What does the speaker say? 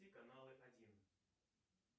каналы один